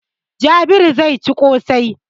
Jabiru zai ci ƙosai.